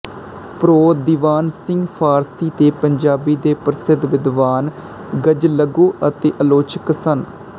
pro Diwan Singh Farsi ਤੇ ਪੰਜਾਬੀ ਦੇ ਪ੍ਰਸਿੱਧ ਵਿਦਵਾਨ ਗ਼ਜ਼ਲਗੋ ਅਤੇ ਆਲੋਚਕ ਸਨ